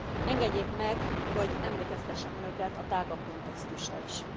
Engedjék meg, hogy emlékeztessem Önöket a tágabb kontextusra is.